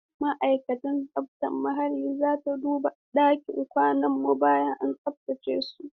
Ma'aikatar tsaftar muhalli za ta duba ɗakin kwanan mu bayan an tsaftace su.